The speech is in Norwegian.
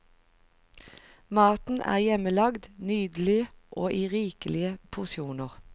Maten er hjemmelagd, nydelig og i rikelige porsjoner.